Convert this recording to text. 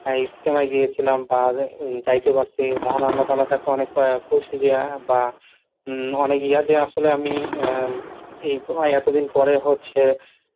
ইজতেমায় গিয়েছিলাম বা যাইতে পারছি, মহান আল্লাহ তালার কাছে অনেক খুশি যে বা অনেক হম ইয়া যে আসলে আমি আহ এতদিন পরে হচ্ছে